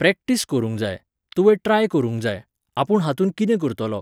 Practice करूंक जाय, तूंवे ट्राय करूंक जाय, आपूण हातूंत कितें करतलों.